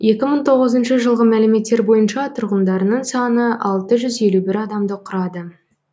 екі мың тоғызыншы жылғы мәліметтер бойынша тұрғындарының саны алты жүз елу бір адамды құрады